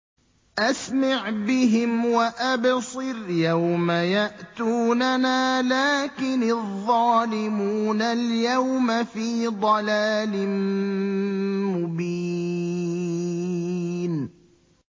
أَسْمِعْ بِهِمْ وَأَبْصِرْ يَوْمَ يَأْتُونَنَا ۖ لَٰكِنِ الظَّالِمُونَ الْيَوْمَ فِي ضَلَالٍ مُّبِينٍ